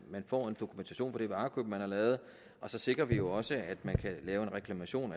man får dokumentation for det varekøb man har lavet og så sikrer vi jo også at man kan lave en reklamation